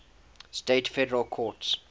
states federal courts